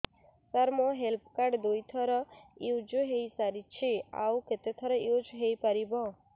ସାର ମୋ health card ଦୁଇ ଥର ୟୁଜ଼ ହୈ ସାରିଛି ଆଉ କେତେ ଥର ୟୁଜ଼ ହୈ ପାରିବ